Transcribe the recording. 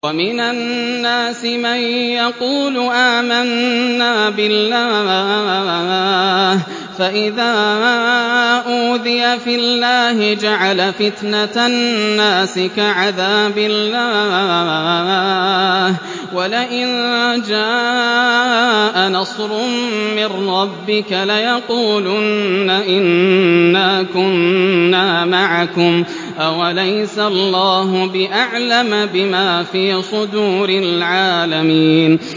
وَمِنَ النَّاسِ مَن يَقُولُ آمَنَّا بِاللَّهِ فَإِذَا أُوذِيَ فِي اللَّهِ جَعَلَ فِتْنَةَ النَّاسِ كَعَذَابِ اللَّهِ وَلَئِن جَاءَ نَصْرٌ مِّن رَّبِّكَ لَيَقُولُنَّ إِنَّا كُنَّا مَعَكُمْ ۚ أَوَلَيْسَ اللَّهُ بِأَعْلَمَ بِمَا فِي صُدُورِ الْعَالَمِينَ